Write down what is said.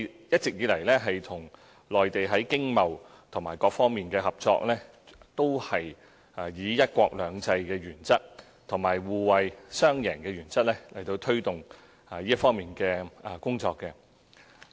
一直以來，我們與內地在經貿和各方面的合作，均按"一國兩制"和互惠雙贏的原則來推動這方面的工作。